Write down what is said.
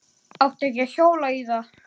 Átti ekki að hjóla í þá.